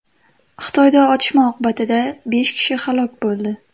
Xitoyda otishma oqibatida besh kishi halok bo‘ldi.